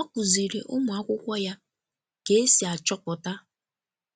Ọ kuziri ụmụ akwụkwo ya ka esi achọpụta